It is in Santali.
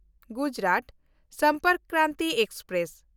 ᱜᱩᱡᱽᱨᱟᱛ ᱥᱚᱢᱯᱚᱨᱠ ᱠᱨᱟᱱᱛᱤ ᱮᱠᱥᱯᱨᱮᱥ